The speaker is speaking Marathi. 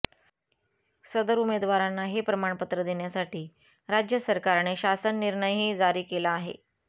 सदर उमेदवारांना हे प्रमाणपत्र देण्यासाठी राज्य सरकारने शासननिर्णयही जारी केला आहे